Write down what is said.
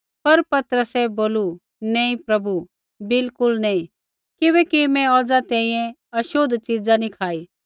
पर पतरसै बोलू नैंई प्रभु बिल्कुल नी किबैकि मैं औज़ा तैंईंयैं छ़ोतली च़िज़ा नी खाई